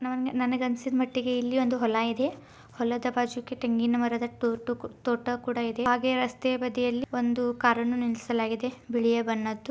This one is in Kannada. ನನ-ನನಗೆ ಅನ್ನಸಿದಮಟ್ಟಿಗೆ ಇಲ್ಲಿ ಒಂದು ಹೊಲ ಇದೆ ಹೊಲದ ಬಾಜುಕೆ ತೆಂಗಿನ ಮರದ ತೊಟ್ಟು ತೋಟ ಕೂಡಾ ಇದೆ ಹಾಗೆ ರಸ್ತೆ ಬದಿಯಲ್ಲಿ ಒಂದು ಕಾರನ್ನು ನಿಲ್ಲಿಸಲಾಗಿದೇ ಬಿಳಿಯ ಬಣ್ಣದು .